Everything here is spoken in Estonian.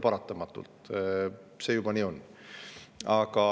Paratamatult on see nii.